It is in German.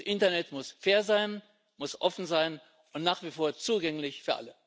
Das Internet muss fair sein, muss offen sein und nach wie vor zugänglich für alle.